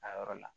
A yɔrɔ la